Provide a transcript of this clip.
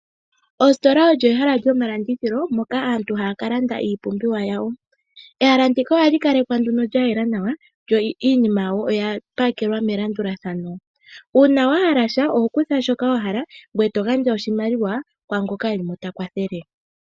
Oositola olyo ehala lyomalandithilo moka aantu haya ka landa iipumbiwa yawo. Ehala ndika ohali kalekwa lyayela nawa, yo iinima yawo oya pakelwa melandulathano. Uuna wahala sha oho kutha shoka wa hala ngoye to gandja oshimaliwa kwaangoka e li ko ta kwathele.